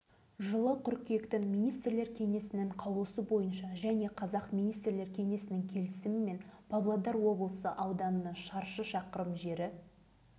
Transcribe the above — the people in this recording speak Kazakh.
соның зардабын енді міне тартып жүрміз деген еді бүгінде жігіт ағасының жасына келіп қалған азамат ойлана төмен қарап